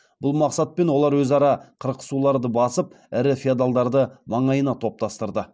бұл мақсатпен олар өзара қырқысуларды басып ірі феодалдарды маңайына топтастырды